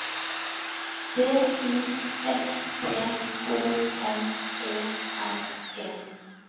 D I S P O N E R E